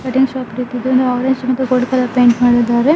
Cutting shop ರೀತಿ ಇದ್ದು orange ಮತ್ತು ಗೋಲ್ಡ್ ಕಲರ್ ಪೈಂಟ್ ಮಾಡಿದ್ದಾರೆ.